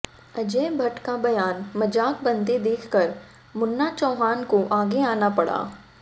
अजय भट्ट का बयान मजाक बनते देख कर मुन्ना चौहान को आगे आना पड़ा